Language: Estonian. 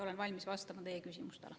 Olen valmis vastama teie küsimustele.